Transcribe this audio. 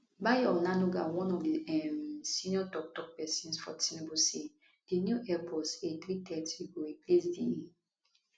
bayo onanuga one of di um senior toktok pesins for tinubu say di new airbus a330 go replace di